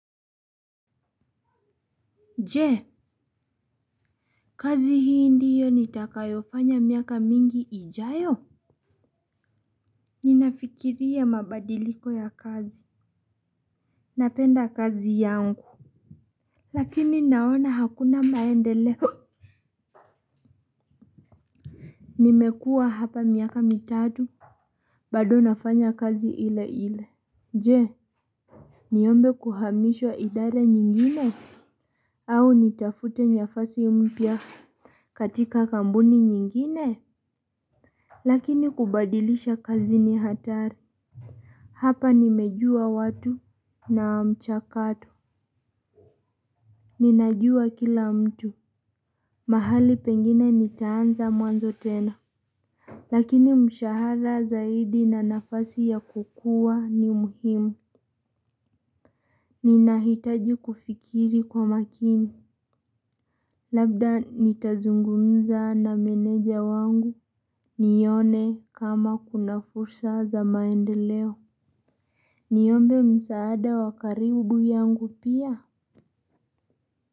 Je kazi hii ndiyo nitakayofanya miaka mingi ijayo. Ninafikiria mabadiliko ya kazi. Napenda kazi yangu lakini naona hakuna maendeleo. Nimekua hapa miaka mitatu. Bado nafanya kazi ile ile. Je niombe kuhamishwa idara nyingine au nitafute nafasi mpya katika kampuni nyingine lakini kubadilisha kazi ni hatari. Hapa nimejua watu na mchakato. Ninajua kila mtu mahali pengine nitaanza mwanzo tena. Lakini mshahara zaidi na nafasi ya kukua ni muhimu. Ninahitaji kufikiri kwa makini. Labda nitazungumza na meneja wangu. Nione kama kuna fursa za maendeleo. Niombe msaada wa karibu yangu pia.